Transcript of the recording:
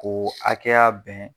K'o hakɛya bɛn